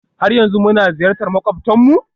har yanzu muna ziyartar makwabtanmu?